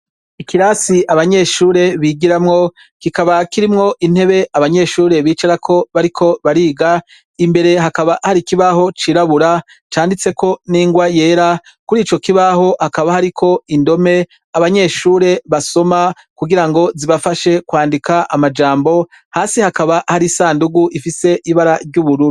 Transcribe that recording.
Ikirasi abanyeshure bigiramwo kikaba kirimwo intebe abanyeshure bicarako bariko bariga imbere hakaba hari kibaho cirabura canditseko n'ingwa yera kuri ico kibaho hakaba hariko indome abanyeshure basoma kugira ngo zibafashe kwandika amajambo hasi hakaba hari sandugu ifise ibara ry'uburu.